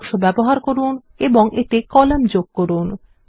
text বাক্স ব্যবহার করুন এবং এতে কলাম যোগ করুন